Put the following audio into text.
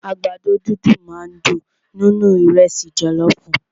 Àgbàdo dídùn máà ń dùn nínú ìrẹ́sì jọlọọfu.